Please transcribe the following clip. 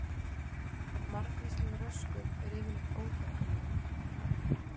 Margvísleg röskun er yfirleitt óhjákvæmileg.